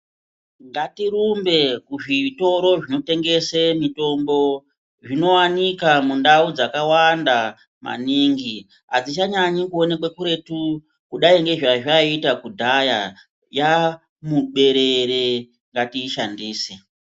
Ngatirumbe kuzvitoro zvinotengese mitombo zvinowanika mundau dzakawanda maningi adzichanyanyi kuenokwe kuretu kudai ngezvazvaita kudhaya yaamuberere ngatiishandise.